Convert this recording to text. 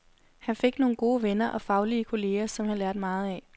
Han fik nogle gode venner og faglige kolleger, som han lærte meget af.